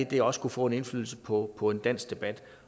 det også kunne få af indflydelse på på en dansk debat